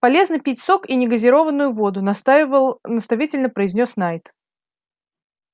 полезно пить сок и не газированную воду настаивал наставительно произнёс найд